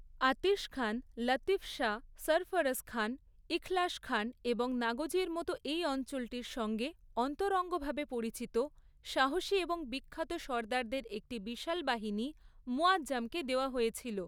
আতিশখান, লতিফশাহ, সরফরজখান, ইখলাসখান এবং নাগোজির মতো এই অঞ্চলটির সঙ্গে অন্তরঙ্গভাবে পরিচিত সাহসী এবং বিখ্যাত সর্দারদের একটি বিশাল বাহিনী মুয়াজ্জমকে দেওয়া হয়েছিল।